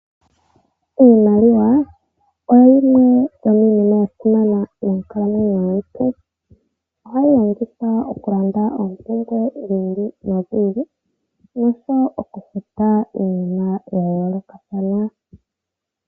Iimaliwa oyo yimwe yo miinima ya simana monkalamwenyo dhetu oha yi longithwa okulanda oompumbwe dhili no dhili noshowo okufuta iinima ya yoolokathana.